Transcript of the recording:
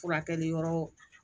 Furakɛli yɔrɔ